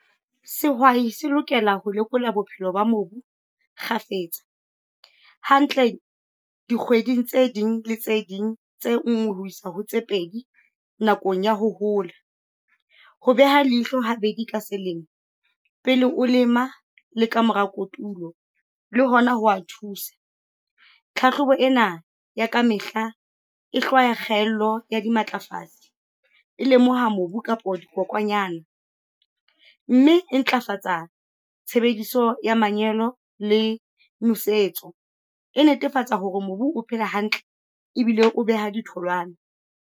Sehwai se lokela ho lekola bophelo ba mobu kgafetsa. Hantle dikgweding tse ding tse ding tse nngwe ho isa ho tse pedi nakong ya ho hola. Ho beha leihlo ha bedi ka selemo, pele o lema le ka mora kotulo, le hona ho wa thusa. Tlhatlhobo ena ya ka mehla, e hlwaya kgaello ya dimatlafatsi, e lemoha mobu kapo dikokwanyana, mme e ntlafatsa tshebediso ya manyolo le nosetso. E netefatsa hore mobu o phela hantle, ebile o beha ditholwana.